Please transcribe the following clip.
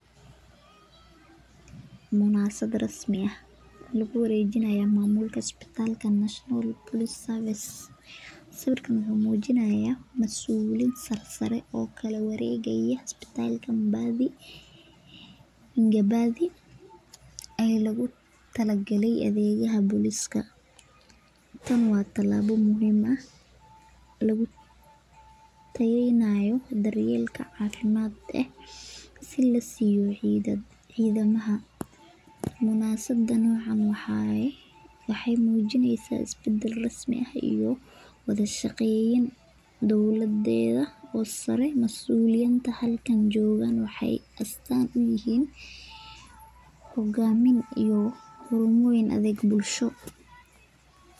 Mubasabd rasmi ah lagu wareejini haayo masuulka kala duban marka adeegyaha booliska talaabo muhiim ah oo lagu tayeeynayo dar yeelka cafimaadka cidaanka wada shaqeen dowlada sare iyo hogaamin xaruumo lagu bandigo suuganta qoraaka caanka ee mgungi.